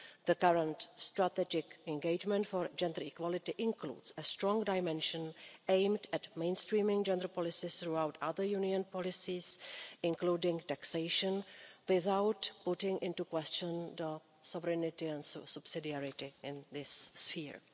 The current strategic engagement for gender equality includes a strong dimension aimed at mainstreaming gender policies throughout other Union policies, including taxation, without calling into question sovereignty and subsidiarity in this sphere.